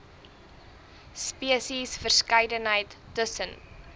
spesies verskeidenheid tussen